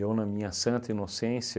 Eu, na minha santa inocência,